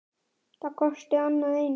Það kosti annað eins.